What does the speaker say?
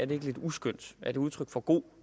lidt uskønt er det udtryk for god